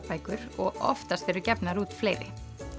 bækur og oftast eru gefnar út fleiri